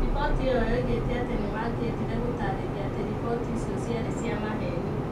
Riboti ĩyo yoigĩte atĩ nĩ mangĩendire gũtaarĩria atĩ riboti icio ciarĩ cia maheeni.